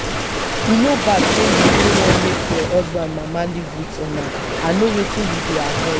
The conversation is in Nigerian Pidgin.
e no bad say you no wan make your husband mama live with una i know wetin you dey avoid